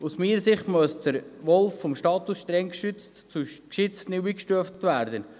Aus meiner Sicht muss der Wolf vom Status «streng geschützt» zu neu «geschützt» eingestuft werden.